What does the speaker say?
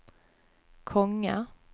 konge